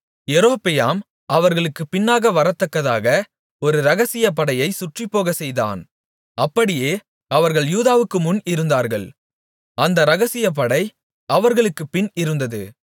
யெரொபெயாம் அவர்களுக்குப் பின்னாக வரத்தக்கதாக ஒரு இரகசியப் படையை சுற்றிப்போகச் செய்தான் அப்படியே அவர்கள் யூதாவுக்கு முன் இருந்தார்கள் அந்த இரகசியப் படை அவர்களுக்குப்பின் இருந்தது